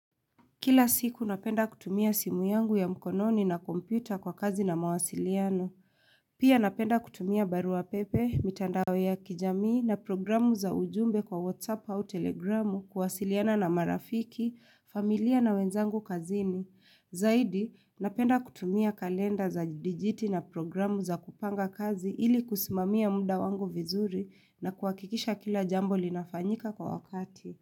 Kila siku napenda kutumia simu yangu ya mkononi na kompyuta kwa kazi na mawasiliano. Pia napenda kutumia barua pepe, mitandawe ya kijamii na programu za ujumbe kwa WhatsApp au Telegramu kuwasiliana na marafiki, familia na wenzangu kazini. Zaidi, napenda kutumia kalenda za dijiti na programu za kupanga kazi ili kusimamia munda wangu vizuri na kuwakikisha kila jambo linafanyika kwa wakati.